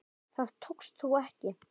Það tókst þó ekki.